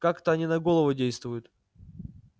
как-то они на голову действуют